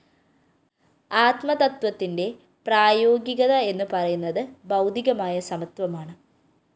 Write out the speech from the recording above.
ആത്മതത്ത്വത്തിന്റെ പ്രായോഗികത എന്നുപറയുന്നത് ഭൗതികമായ സമത്വമാണ്